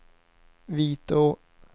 Vitå